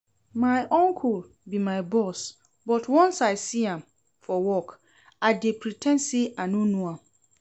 My uncle be my boss but once I see am for work I dey pre ten d say I no know am